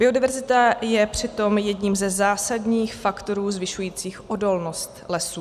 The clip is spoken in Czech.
Biodiverzita je přitom jedním ze zásadních faktorů zvyšujících odolnost lesů.